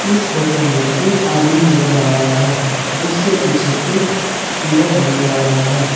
इस फोटो में एक आदमी नजर आ रहा है उसके पीछे एक मिरर नजर आ रहा है।